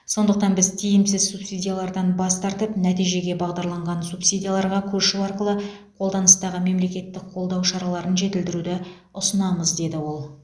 сондықтан біз тиімсіз субсидиялардан бас тартып нәтижеге бағдарланған субсидияларға көшу арқылы қолданыстағы мемлекеттік қолдау шараларын жетілдіруді ұсынамыз деді ол